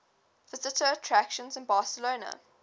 visitor attractions in barcelona